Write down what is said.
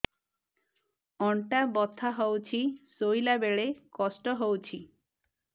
ଅଣ୍ଟା ବଥା ହଉଛି ଶୋଇଲା ବେଳେ କଷ୍ଟ ହଉଛି